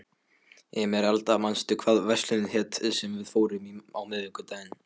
Emeralda, manstu hvað verslunin hét sem við fórum í á miðvikudaginn?